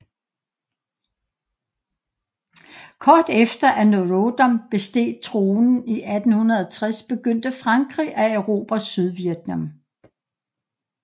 Kort efter at Norodom besteg tronen i 1860 begyndte Frankrig at erobre Sydvietnam